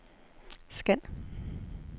scan